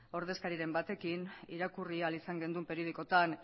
ordezkariren batekin irakurri ahal izan genuen periodikoetan